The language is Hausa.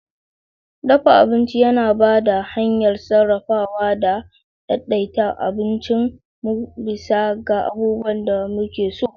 Dafa abinci yana ba da hanyar sarrafawa da daidaita abincin mu bisa ga abubuwan da muke so.